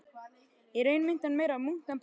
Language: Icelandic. Í raun minnti hann meira á munk en prest.